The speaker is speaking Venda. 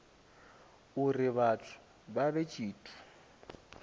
uri vhathu vha vhe tshithu